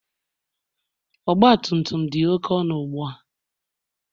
Ọgbatumtum dị oké ọnụ ugbua